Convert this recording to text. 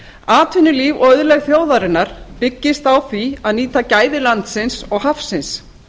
atvinnulíf og auðlegð þjóðarinnar byggist á því að nýta gæði landsins og hafsins